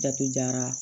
Jatu jara